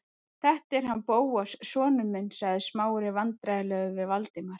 Þetta er hann Bóas sonur minn- sagði Smári vandræðalegur við Valdimar.